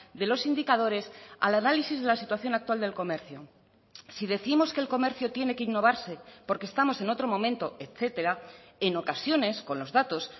de los indicadores al análisis de la situación actual del comercio si décimos que el comercio tiene que innovarse porque estamos en otro momento etcétera en ocasiones con los datos